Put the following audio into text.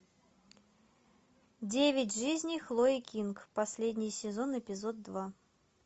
девять жизней хлои кинг последний сезон эпизод два